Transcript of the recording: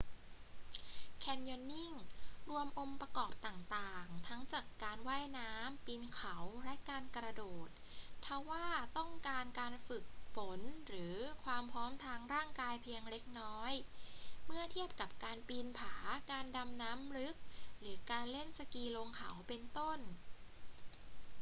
แคนยอนนิ่ง รวมองค์ประกอบต่างๆ ทั้งจากการว่ายน้ำ ปีนเขา และการกระโดด ทว่าต้องการการฝึกฝนหรือความพร้อมทางร่างกายเพียงเล็กน้อย เมื่อเทียบกับการปีนผา การดำน้ำลึก หรือการเล่นสกีลงเขา เป็นต้น